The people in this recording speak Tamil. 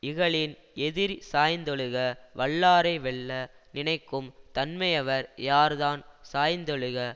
இகலின் எதிர் சாய்ந்தொழுக வல்லாரை வெல்ல நினைக்கும் தன்மையவர் யார் தான் சாய்ந்தொழுக